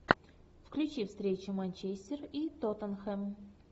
включи встречу манчестер и тоттенхэм